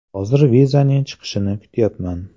Hozir vizaning chiqishini kutyapman.